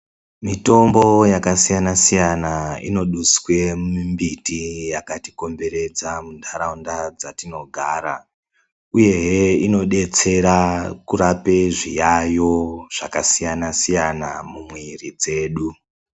Mitombo yakasiyana siyana inoduswe mumbiti yakati komberedza mundaraunda dzatinogara uyehe inodetsera kurape zviyayo zvakasiyana siyana mumwiri dzedu.